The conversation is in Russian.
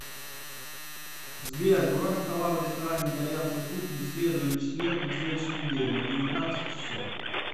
сбер бронь стола в ресторане итальянской кухни в среду или четверг на следующей неделе на девятнадцать часов